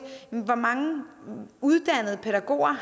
hvor mange uddannede pædagoger